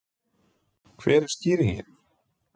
Hver er skýringin?